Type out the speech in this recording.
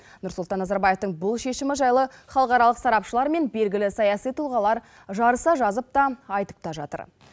нұрсұлтан назарбаевтың бұл шешімі жайлы халықаралық сарапшылар мен белгілі саяси тұлғалар жарыса жазып та айтып та жатыр